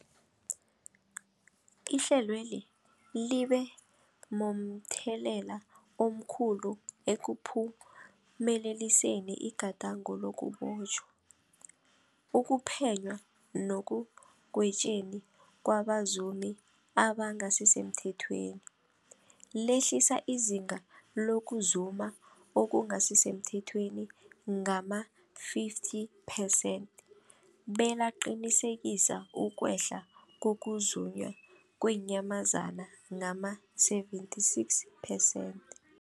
Ihlelweli libe momthelela omkhulu ekuphumeleliseni igadango lokubotjhwa, ukuphenywa nekugwetjweni kwabazumi abangasisemthethweni, lehlisa izinga lokuzuma okungasi semthethweni ngama-50 percent belaqinisekisa ukwehla kokuzunywa kweenyamazana ngama-76 percent.